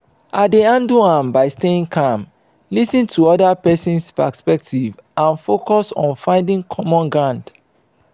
i dey handle am by staying calm lis ten to oda person's perspective and focus on finding common ground.